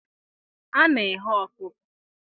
A na-eghe ọkụkọ.